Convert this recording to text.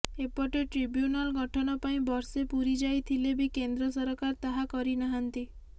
ଏପଟେ ଟ୍ରିବୁ୍ୟନାଲ୍ ଗଠନ ପାଇଁ ବର୍ଷେ ପୁରିଯାଇଥିଲେ ବି କେନ୍ଦ୍ର ସରକାର ତାହା କରିନାହାନ୍ତି